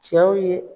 Cɛw ye